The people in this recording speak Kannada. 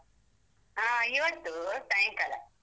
ಆ ಇವತ್ತೂ ಸಾಯಂಕಾಲ.